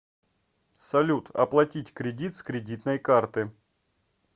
салют оплатить кредит с кредитной карты